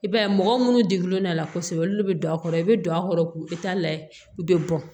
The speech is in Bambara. I b'a ye mɔgɔ minnu degulen don a la kosɛbɛ olu de bɛ don a kɔrɔ i bɛ don a kɔrɔ k'u layɛ u bɛ bɔn